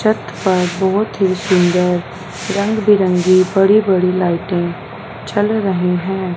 छत पर बहोत ही सुंदर रंगी बिरंगी बड़ी-बड़ी लाइटें जल रही हैं।